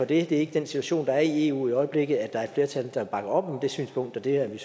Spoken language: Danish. det er ikke den situation der er i eu i øjeblikket at der er et flertal der bakker op om det synspunkt og det er vi